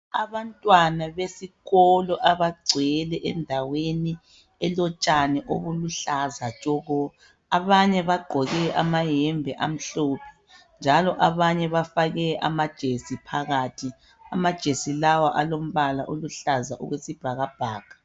Abantwana besikolo abagcwele endaweni elotshani obuluhlaza tshoko abanye bagqoke amayembe amhlophe njalo abanye bafake amajesi phakathi amajesi lawa alombala oluhlaza okwesibhakabhaka .